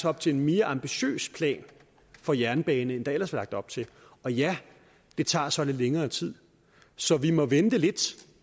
op til en mere ambitiøs plan for jernbanen end der ellers var lagt op til og ja det tager så lidt længere tid så vi må vente lidt